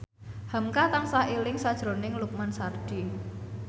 hamka tansah eling sakjroning Lukman Sardi